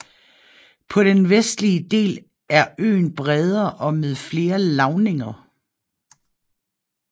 På den vestlige del er øen bredere og med flere lavninger